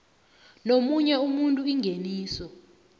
nomunye umuntu ingeniso